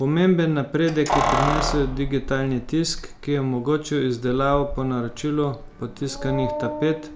Pomemben napredek je prinesel digitalni tisk, ki je omogočil izdelavo po naročilu potiskanih tapet,